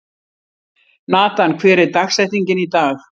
Natan, hver er dagsetningin í dag?